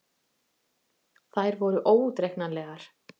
Þær voru óútreiknanlegar.